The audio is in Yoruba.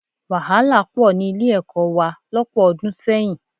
Wàhálà pọ̀ gan ní Ilé-ẹ̀kọ́ wa lọ́pọ̀ ọdún sẹ́yìn